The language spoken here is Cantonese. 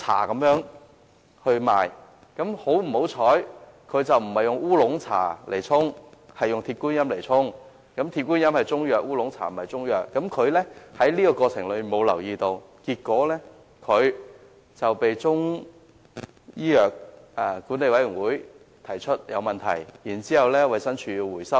很不幸，該沖劑不是以烏龍茶而是以鐵觀音沖製，鐵觀音屬中藥，烏龍茶則不是，藥廠在這過程中卻沒有留意這一點，結果產品被香港中醫藥管理委員會指為有問題，衞生署隨即飭令回收。